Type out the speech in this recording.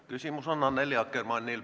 Küsimus on Annely Akkermannil.